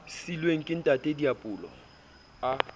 siilweng ke ntata diepollo a